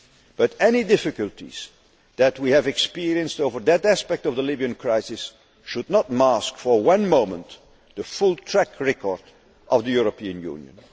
But any difficulties that we have experienced over that aspect of the Libyan crisis should not mask for one moment the full track record of the European Union.